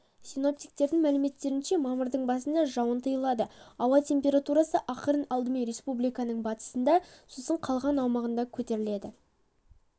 синоптиктердің мәліметтерінше мамырдың басында жауын тыйылады ауа температурасы ақырын алдымен республиканың батысында сосын қалған аумағында көтеріледі